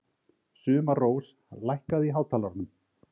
Sumarrós, lækkaðu í hátalaranum.